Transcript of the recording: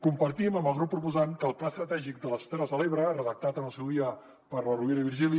compartim amb el grup proposant que el pla estratègic de les terres de l’ebre redactat en el seu dia per la rovira i virgili